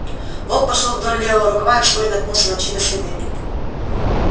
волк пошёл вдоль левого рукава и вскоре наткнулся на чьи то следы